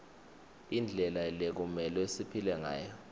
indlela lekumelwe siphile ngayo